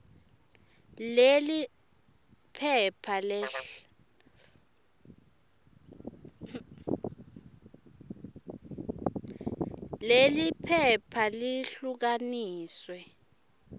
leli phepha lehlukaniswe